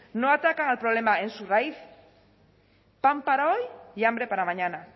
no atacan al problema en su raíz pan para hoy y hambre para mañana